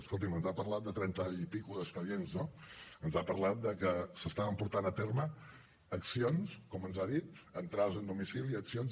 escolti’m ens ha parlat de trenta i escaig expedients no ens ha parlat de que s’estaven portant a terme accions com ens ha dit entrades en domicilis accions